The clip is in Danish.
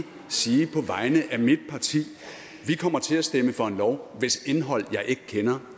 sige på vegne af mit parti at vi kommer til at stemme for en lov hvis indhold jeg ikke kender